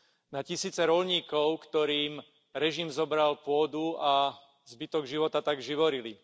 Na tisíce roľníkov, ktorým režim zobral pôdu a zbytok života tak živorili.